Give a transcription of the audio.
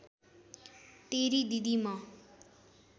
तेरी दिदी म